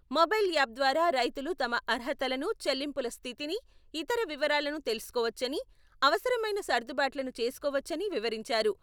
Mobile app ద్వారా రైతులు తమ అర్హతలను, చెల్లింపుల స్థితిని, ఇతర వివరాలను తెలుసుకోవచ్చని, అవసరమైన సర్దుబాట్లను చేసుకోవచ్చని వివరించారు.